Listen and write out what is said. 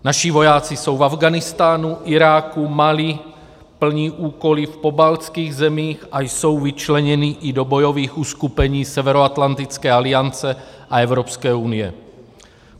Naši vojáci jsou v Afghánistánu, Iráku, Mali, plní úkoly v pobaltských zemích a jsou vyčleněni i do bojových uskupení Severoatlantické aliance a Evropské unie.